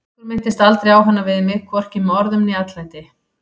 Bergur minntist aldrei á hana við mig, hvorki með orðum né atlæti.